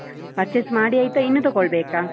purchase ಮಾಡಿ ಆಯ್ತಾ ಇನ್ನು ತೊಗೊಳ್ಬೇಕ?